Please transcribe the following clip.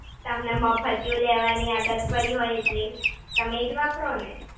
તમને મફતિયું લેવાની આદત પડી હોય એટલે તમે એ જ વાપરો ને!